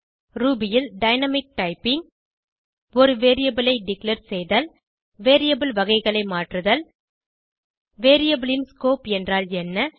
Ruby ல் dynamic typing ஒரு variable ஐ டிக்ளேர் செய்தல் வேரியபிள் வகைகளை மாற்றுதல் variableயின் ஸ்கோப் என்றால் என்ன